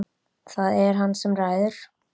Það er hann sem ræður.